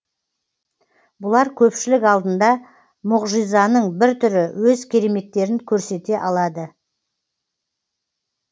бұлар көпшілік алдында мұғжизаның бір түрі өз кереметтерін көрсете алады